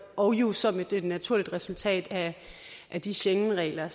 og jo som et naturligt resultat af de schengenregler